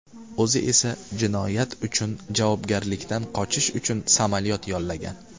O‘zi esa jinoyat uchun javobgarlikdan qochish uchun samolyot yollagan.